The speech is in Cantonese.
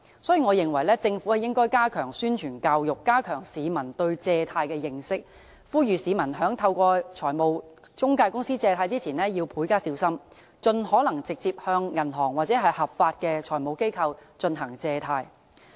所以，我認為政府應加強宣傳教育，加強市民對借貸的認識，呼籲市民在透過財務中介公司借貸前要加倍小心，盡可能直接向銀行或合法的財務機構進行借貸。